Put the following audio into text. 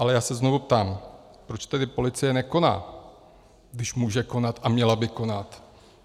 Ale já se znovu ptám, proč tedy policie nekoná, když může konat a měla by konat.